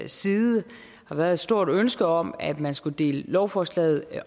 side har været et stort ønske om at man skulle dele lovforslaget